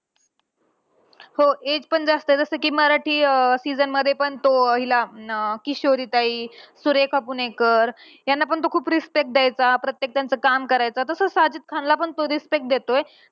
हो age पण जास्त आहे. जसं कि मराठी अं season मध्ये पण तो हिला अं किशोरी ताई, सुरेखा पुणेकर यांना पण तो खूप respect द्यायचा. प्रत्येक त्यांचं तो काम करायचा. तसं साजिद खानला पण तो respect देतोय.